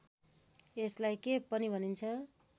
यसलाई के पनि भनिन्छ